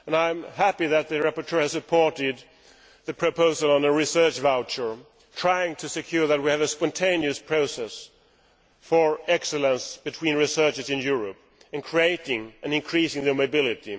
And I am happy that the rapporteur has made the proposal for a research voucher, trying to secure that we have a spontaneous process for excellence between researchers in Europe by creating and increasing their mobility.